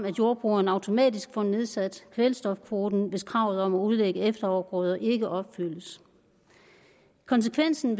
jordbrugeren automatisk får nedsat kvælstofkvoten hvis kravet om at udlægge efterafgrøder ikke opfyldes konsekvensen